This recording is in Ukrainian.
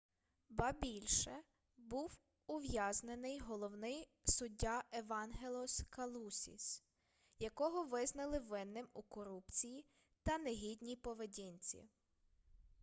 ба більше був ув'язнений головний суддя евангелос калусіс якого визнали винним у корупції та негідній поведінці